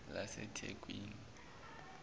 lasethekwini